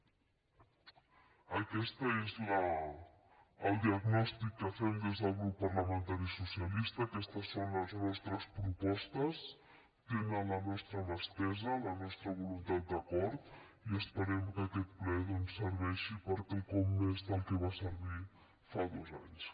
aquest és el diagnòstic que fem des del grup parlamentari socialista aquestes són les nostres propostes tenen la nostra mà estesa la nostra voluntat d’acord i esperem que aquest ple doncs serveixi per a quelcom més del que va servir fa dos anys